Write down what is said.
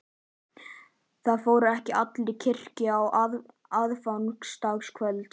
Það fóru ekki allir í kirkju á aðfangadagskvöld.